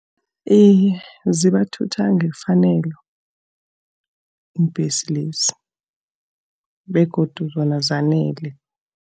Iye, zibathutha ngefanelo iimbhesi lezi, begodu zona zanele.